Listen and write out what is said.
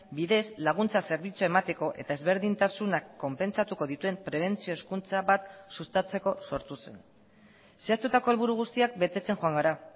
bidez laguntza zerbitzua emateko eta ezberdintasunak konpentsatuko dituen prebentzio hezkuntza bat sustatzeko sortu zen zehaztutako helburu guztiak betetzen joan gara